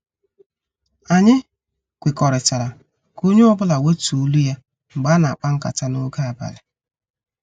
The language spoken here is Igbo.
Anyị kwekọrịtara ka onye ọ bụla wetuo olu ya mgbe ana- akpa nkata n' oge abalị.